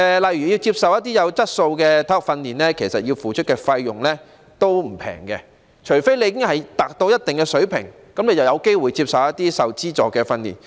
例如，要接受一些有質素的體育訓練，須付出的費用並不便宜，除非已達到一定的水平，這樣便有機會接受一些受資助的訓練。